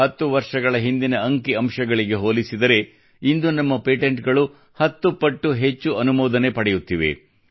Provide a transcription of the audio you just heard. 10 ವರ್ಷಗಳ ಹಿಂದಿನ ಅಂಕಿ ಅಂಶಗಳಿಗೆ ಹೋಲಿಸಿದರೆ ಇಂದು ನಮ್ಮ ಪೇಟೆಂಟ್ಗಳು 10 ಪಟ್ಟು ಹೆಚ್ಚು ಅನುಮೋದನೆ ಪಡೆಯುತ್ತಿವೆ